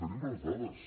tenim les dades